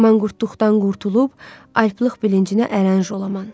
Manqurtdan qurtulub alplıq bilincinə ərənc olaman.